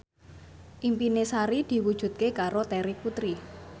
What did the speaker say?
impine Sari diwujudke karo Terry Putri